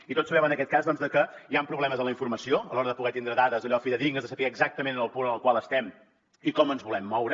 i tots sabem en aquest cas que hi han problemes en la informació a l’hora de poder tenir dades fidedignes de saber exactament el punt en el qual estem i com ens volem moure